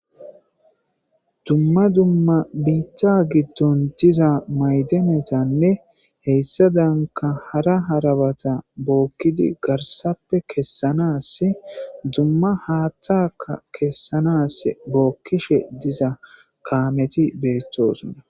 dumma dumma biitta giddon diza ma'danetanne heyssa danka hara harabata bookkidi garsappe kessanas dumma haattaka kessanas bookkishe diza kaameti beettosona